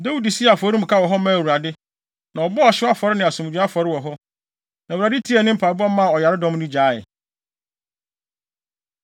Dawid sii afɔremuka wɔ hɔ maa Awurade, na ɔbɔɔ ɔhyew afɔre ne asomdwoe afɔre hɔ. Na Awurade tiee ne mpaebɔ maa ɔyaredɔm no gyaee.